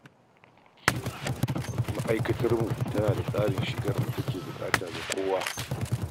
Ma'aikatarmu tana da tsarin shigar da take da buƙata ga kowa.